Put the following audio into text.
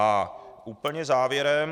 A úplně závěrem.